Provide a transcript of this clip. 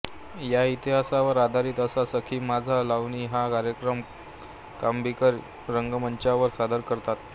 या इतिहासावर आधारित असा सखी माझी लावणी हा कार्यक्रम कांबीकर रंगमंचावर सादर करतात